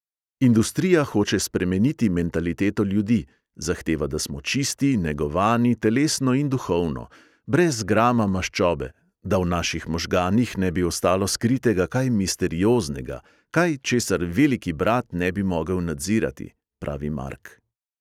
"Industrija hoče spremeniti mentaliteto ljudi, zahteva, da smo čisti, negovani, telesno in duhovno, brez grama maščobe, da v naših možganih ne bi ostalo skritega kaj misterioznega, kaj, česar veliki brat ne bi mogel nadzirati," pravi mark.